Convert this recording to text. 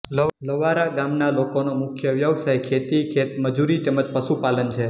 લવારા ગામના લોકોનો મુખ્ય વ્યવસાય ખેતી ખેતમજૂરી તેમ જ પશુપાલન છે